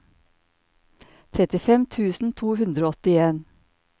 trettifem tusen to hundre og åttien